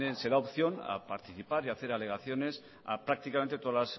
se da opción a participar y hacer alegaciones a prácticamente todas